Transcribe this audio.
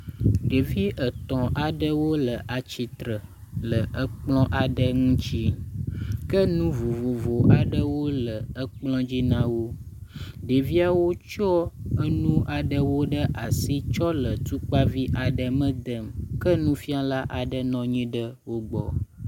Ɖevi etɔ̃ aɖewo le atsitre le ekplɔ aɖe ŋutsi. Ke nu vovovo aɖewo le ekplɔ dzi na wo. Ɖeviawo tsɔ enu aɖewo ɖe asi tsɔ le tukpavi aɖe me dem ke nufiala aɖe nɔ anyi ɖe wo gbɔ.